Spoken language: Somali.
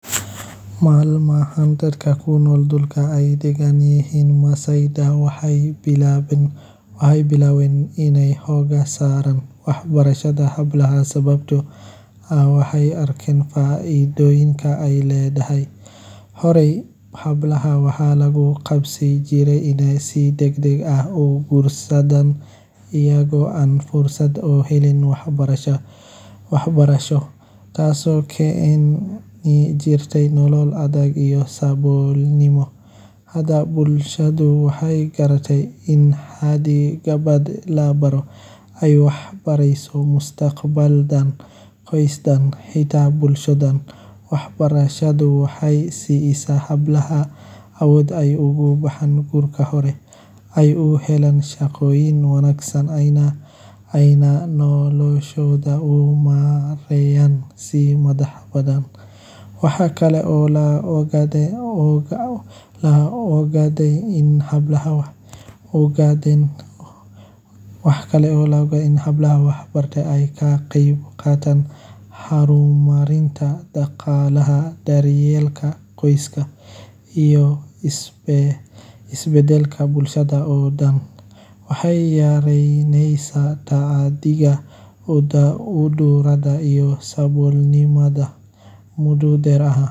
Maalmahan, dadka ku nool dhulka ay degaan dadka Maasai-da waxay wajahayaan dhibaatooyin la xiriira muran dhuleed iyo cadaadis ka imaanaya dhinacyo kala duwan. Dadka deegaanka ah ee aan ahayn Maasai-da, balse hadda ku sugan dhulkaas, ayaa mararka qaar wajahaya cabsi iyo walaac ku saabsan xasilloonidooda, maadaama ay jiraan isku dhacyo la xiriira lahaanshaha dhulka iyo isticmaalka kheyraadka dabiiciga ah sida daaqa iyo biyaha. Degaanka Maasai-da, oo ah meel dhaqameed muhiim u ah dhaqanka